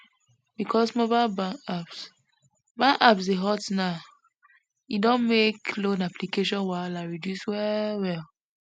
because mobile bank apps bank apps dey hot now e don make loan application wahala reduce well well